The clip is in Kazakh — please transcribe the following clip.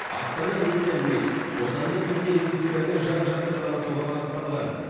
астана медия уик отандық медиа индустрияны жан жақты дамытуға бағытталған